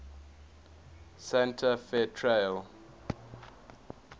santa fe trail